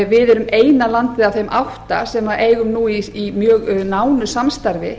við erum eina landið af átta sem eigum nú í mjög nánu samstarfi